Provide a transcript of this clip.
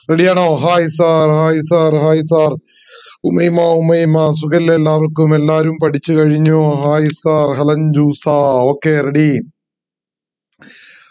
ready ആണോ hi sir hi sir hi sir Umayma Umayma സുഖല്ലേ എല്ലാവര്ക്കും എല്ലാരും പഠിച്ചു കഴിഞ്ഞോ ഹായ് sir ഹെലൻ ജൂസാ okay ready